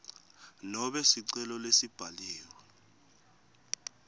nobe sicelo lesibhaliwe